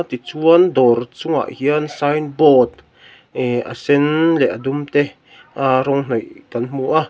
tichuan dawr chungah hian sign board ehh a sen leh a dum te aa rawng hnawih kan hmu a.